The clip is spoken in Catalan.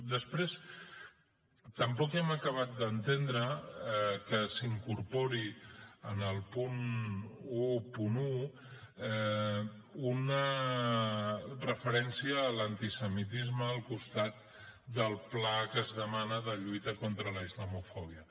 després tampoc hem acabat d’entendre que s’incorpori en el punt onze una referència a l’antisemitisme al costat del pla que es demana de lluita contra la islamofòbia